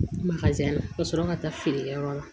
ka sɔrɔ ka taa feerekɛyɔrɔ la